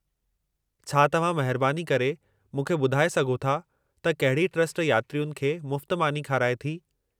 छा तव्हां महिरबानी करे मूंखे ॿुधाए सघो था त कहिड़ी ट्रस्ट यात्रियुनि खे मुफ़्त मानी खाराए थी।